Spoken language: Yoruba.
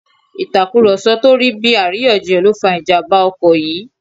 Ìtàkùrọ̀sọ tó bí àríyànjiyàn ló fa ìjàmbá ọkọ̀ yìí